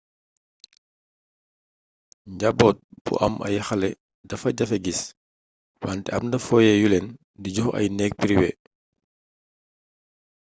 jamboot bu am ay xalé defa jafé guiss wanté amna foyé yulen di jox ay negg priwé